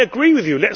I agree with you